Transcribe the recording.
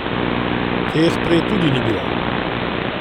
Teh prej tudi ni bilo.